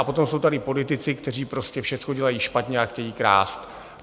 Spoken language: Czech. A potom jsou tady politici, kteří prostě všechno dělají špatně a chtějí krást.